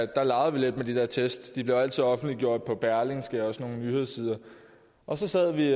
der legede vi lidt med de der tests de blev altid offentliggjort på berlingske og på nogle nyhedssider og så sad vi